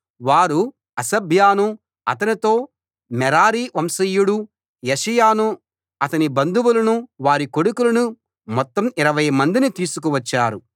వారు హషబ్యాను అతనితో మెరారీ వంశీయుడు యెషయాను అతని బంధువులను వారి కొడుకులను మొత్తం 20 మందిని తీసుకువచ్చారు